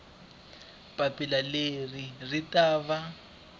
papila leri ri ta va